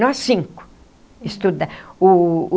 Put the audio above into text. Nós cinco estuda o o.